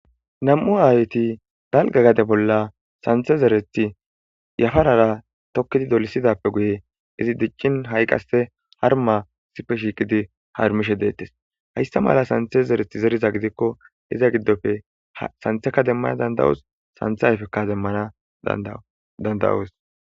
Nam'u aayeti dalgga gade bolla santhe zerethi yafarara tokkidi dolisidape guye izi diccin ha'i qasse harmma issipe shiiqidi harmishe de'ettees Hayssa mala sanththe zereth zeriza gidiko iza giddoppe sanththeka demana dandda'oos sanththa ayfekka demana dandda'oos.